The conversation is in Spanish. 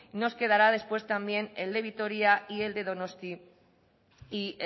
nos quedará después también el de vitoria y el de donosti y